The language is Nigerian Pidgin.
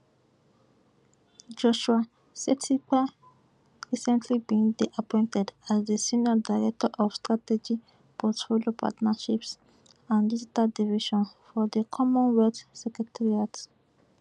joshua setipa recently bin dey appointed as di senior director of strategy portfolio partnerships and digital division for di commonwealth secretariat